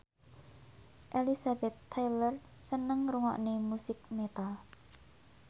Elizabeth Taylor seneng ngrungokne musik metal